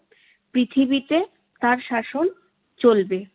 পৃথিবীতে তার শাসন চলবে।